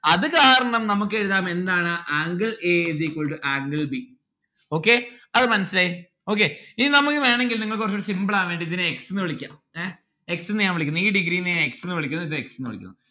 അത് കാരണം നമ്മുക്ക് എഴുതാം എന്താണ് angle a is equal to angle b okay അത് മനസിലായി okay ഇനി നമ്മുക്ക് വേണെങ്കിൽ നിങ്ങൾക്ക് കൊർച് കൂടി simple ആവാൻ വേണ്ടി ഇതിനെ x ന്ന്‌ വിളിക്കാം ഏ? x ന്ന്‌ ഞാൻ വിളിക്കുന്നു ഈ degree നെ ഞാൻ x ന്നു വിളിക്കുന്നു ദെ x ന്നു വിളിക്കുന്നു